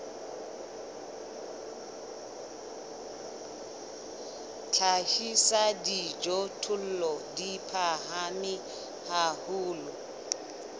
hlahisa dijothollo di phahame haholo